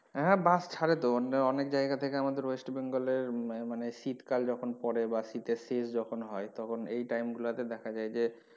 হ্যাঁ bus ছাড়ে তো অনেক জায়গা থেকে আমাদের West Bengal এর মানে শীতকাল যখন পড়ে বা শীতের শেষ যখন হয় তখন এই time গুলো তে দেখা যায় যে,